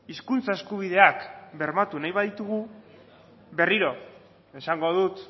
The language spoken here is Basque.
hizkuntza eskubideak bermatu nahi baditugu berriro esango dut